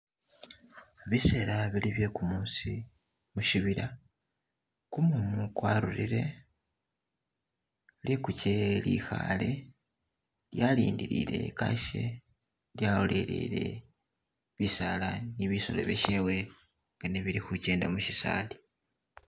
Bisela bili bye kumusi mushibila , kumumu kwarurile, likuche lyekhale lyalindilile kashe lyalolelele bisala ne bisolo byeshewe nga nebili khukenda mushisali.